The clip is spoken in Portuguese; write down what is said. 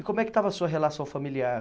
E como é que estava a sua relação familiar?